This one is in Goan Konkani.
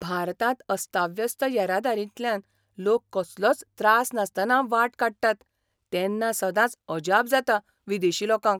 भारतांत अस्ताव्यस्त येरादारींतल्यान लोक कसलोच त्रास नासतना वाट काडटात तेन्ना सदांच अजाप जाता विदेशी लोकांक.